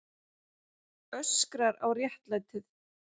Öskrar á réttlætið.